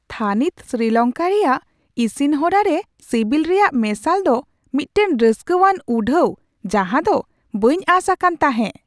ᱛᱷᱟᱹᱱᱤᱛ ᱥᱨᱤᱞᱚᱝᱠᱟ ᱨᱮᱭᱟᱜ ᱤᱥᱤᱱ ᱦᱚᱨᱟ ᱨᱮ ᱥᱤᱵᱤᱞ ᱨᱮᱭᱟᱜ ᱢᱮᱥᱟᱞ ᱫᱚ ᱢᱤᱫᱴᱟᱝ ᱨᱟᱹᱥᱠᱟᱹᱣᱟᱱ ᱩᱰᱷᱟᱣ ᱡᱟᱦᱟᱸ ᱫᱚ ᱵᱟᱹᱧ ᱟᱸᱥ ᱟᱠᱟᱱ ᱛᱟᱦᱮᱸ ᱾